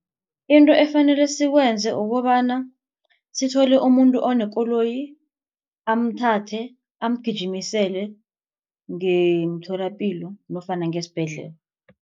Into efanele sikwenze ukobana sithole umuntu onekoloyi amthathe amgijimisele ngemtholapilo nofana ngesibhedlela.